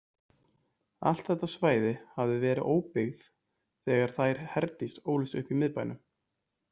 Allt þetta svæði hafði verið óbyggð þegar þær Herdís ólust upp í miðbænum.